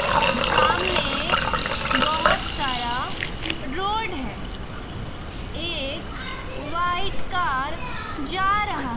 सामने बहुत सारा रोड है एक व्हाइट कार जा रहा--